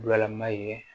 Bulalama ye